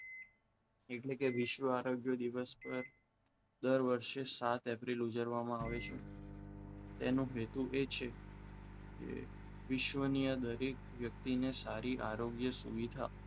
એટલે કે વિશ્વ આરોગ્ય દિવસ પર દર વર્ષે સાત એપ્રિલ ઉજવવામાં આવે છે તેનું હેતુ એ છે કે વિશ્વની અંદર એક વ્યક્તિને સારી આરોગ્ય સુવિધા